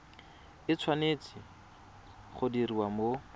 e tshwanetse go diriwa mo